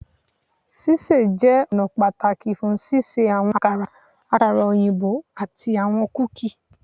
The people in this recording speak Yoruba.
Ṣiṣe jẹ ọna pataki fun ṣiṣe awọn akara, akara, ati awọn kuki